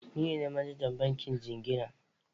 Ni ne manajan bankin jingina.